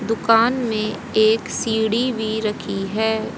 दुकान मे एक सीढ़ी भी रखी है।